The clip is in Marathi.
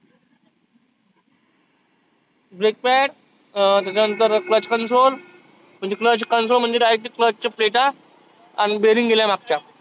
break pad त्याच्यानंतर म्हणजे clutch console म्हणजे direct ते clutch च्या plate आन bearing गेल्या मागच्या.